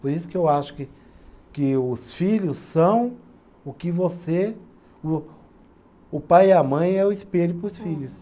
Por isso que eu acho que que os filhos são o que você, o o pai e a mãe é o espelho para os filhos.